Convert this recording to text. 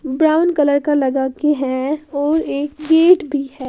Brown colour का लगा के है और एक गेट भी है।